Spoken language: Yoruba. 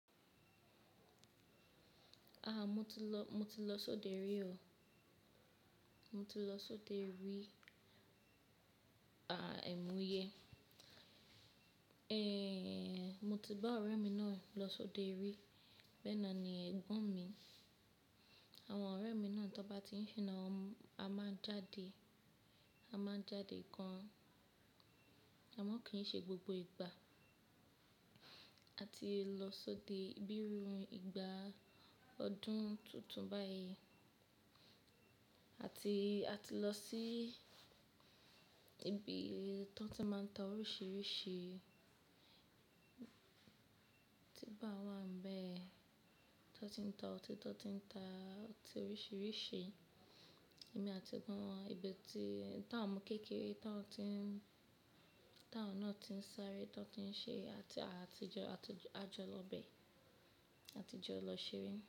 Mo ti lọ, mo ti lọ sóde rí o. Mo ti lọ sóde rí, ẹ̀múyẹ. Ehn, mo ti bá ọ̀rẹ́ mi náà lọ sóde rí. Bẹ́ẹ̀ náà ni ẹ̀gbọ́n mi. Àwọn ọ̀rẹ́ mi náà tó bá ti ń ṣe ìnáwó, a máa ń jáde, a máa ń jáde gan. Àmọ́ kì í ṣe gbogbo ìgbà. A ti lọ sóde bíí irú ìgbà ọdún tuntun báyìí. Àti, àti lọ sí ibi tó ti máa ń ta oríṣìíríṣìí, tí bár wà níbẹ̀, tó ti ń ta ọtí, tó ti ń ta ọtí oríṣìíríṣìí. Èmi àti, ibi tí àwọn ọmọ kékeré, ti won ti, ti àwọn náà ti ń sáré, táa ti ń ṣe, àti a ti jọ, a ti jọ lọ bẹ̀. A ti jọ lọ ṣeré níbẹ̀